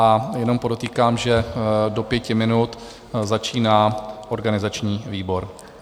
A jenom podotýkám, že do pěti minut začíná organizační výbor.